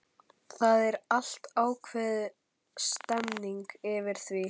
Það er alltaf ákveðin stemmning yfir því.